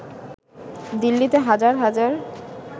দিল্লিতে হাজার হাজার